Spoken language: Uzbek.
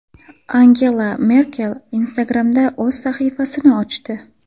Angela Merkel Instagram’da o‘z sahifasini ochdi.